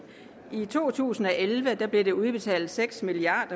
i to tusind og elleve blev der udbetalt seks milliard